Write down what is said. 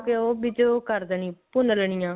ਉਹ ਵਿੱਚ ਉਹ ਕਰ ਦੇਣੀ ਭੁੰਨ ਲੇਨੀ ਆ